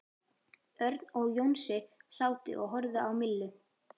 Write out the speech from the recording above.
Örn og Jónsi sátu og horfðu á Millu.